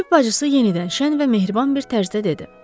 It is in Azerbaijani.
Tibb bacısı yenidən şən və mehriban bir tərzdə dedi: